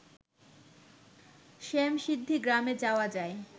শ্যামসিদ্ধি গ্রামে যাওয়া যায়